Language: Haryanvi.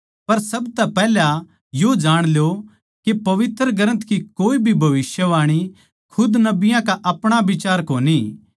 पर सबतै पैहले यो जाण ल्यो के पवित्र ग्रन्थ की कोए भी भविष्यवाणी खुद नबियाँ का अपणा बिचार कोनी